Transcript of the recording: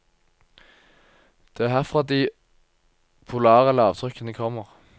Det er herfra de polare lavtrykkene kommer.